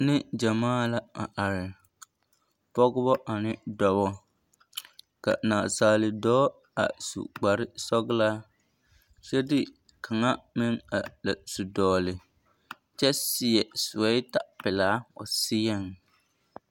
Neŋgyɛmaa la a are, pɔgebɔ ane dɔbɔ ka naasaale dɔɔ a su kpare sɔgelaa kyɛ de kaŋa meŋ a la su dɔgele kyɛ seɛ sewɛta pelaa o seɛŋ.